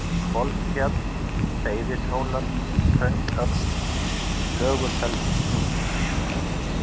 Hvolsfjall, Seyðishólar, Hraunsöxl, Flöguselshnjúkur